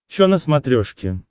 чо на смотрешке